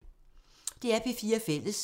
DR P4 Fælles